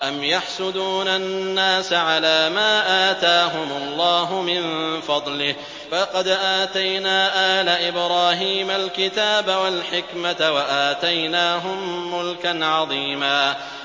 أَمْ يَحْسُدُونَ النَّاسَ عَلَىٰ مَا آتَاهُمُ اللَّهُ مِن فَضْلِهِ ۖ فَقَدْ آتَيْنَا آلَ إِبْرَاهِيمَ الْكِتَابَ وَالْحِكْمَةَ وَآتَيْنَاهُم مُّلْكًا عَظِيمًا